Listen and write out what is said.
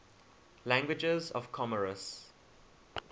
languages of comoros